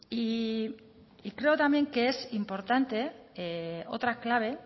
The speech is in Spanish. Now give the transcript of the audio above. creo que también es importante otra clave